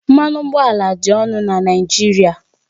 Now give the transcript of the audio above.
Mmanụ ụgbọala dị ọnụ na Naịjirịa